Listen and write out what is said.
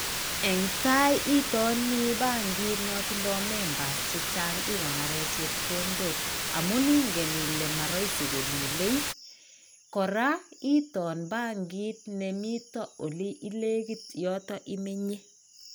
En tai itonii bankit no toindo members che chang ikonoren chepkondo amun inge ile moroisi kolule ,koraa into bankit nemiton ole inekit yoton imenyee.